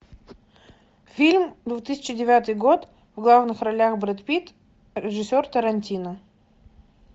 фильм две тысячи девятый год в главных ролях брэд питт режиссер тарантино